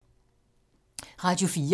Radio 4